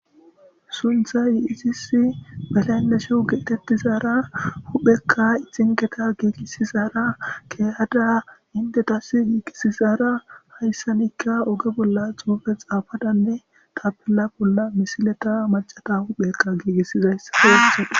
suntha yiisisi balaynne shuhugietettizaara huphekka ixingeta giigisizaara keyada indetasi giigisizara hayssanikka oge bolla xuufe xaafadanne tapilla bolla misileta macata huphekka giigissizayssa heelison